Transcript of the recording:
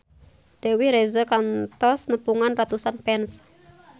Dewi Rezer kantos nepungan ratusan fans